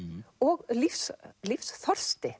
og